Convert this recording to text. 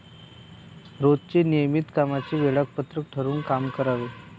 रोजच्या नियमित कामांचे वेळापत्रक ठरवून काम करावे.